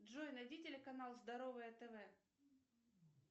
джой найди телеканал здоровое тв